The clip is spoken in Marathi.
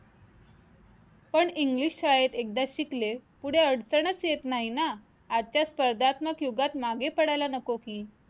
पण English शाळेत एकदा शिकले पुढे अडचणच येत नाही ना आजच्या स्पर्धात्मक युगात मागे पडायला नको की